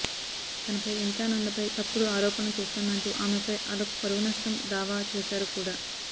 తనపై వింతానందపై తప్పుడు ఆరోపణలు చేస్తుందంటూ ఆమెపై అలోక్ పరువు నష్టం దావా చేశారు కూడా